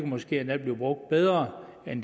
måske endda blive brugt bedre end